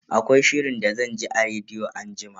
Akwai shirin da zan ji a rediyo anjima.